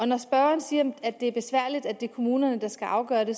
når spørgeren siger det er besværligt at det er kommunerne der skal afgøre det